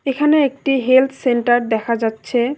এখানে একটি health centre দেখা যাচ্ছে।